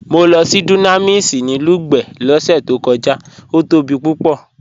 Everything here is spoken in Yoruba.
Mọ́ lọ sí Dunamis ni Lugbe lọ́sẹ̀ tó kọja, ó tóbi púpọ̀.